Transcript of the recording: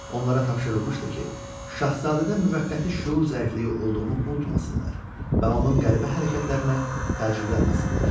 Onlara tapşırılmışdı ki, şahzadədə müvəqqəti şüur zəifliyi olduğunu unutmasınlar və onun qəribə hərəkətlərinə təəccüblənməsinlər.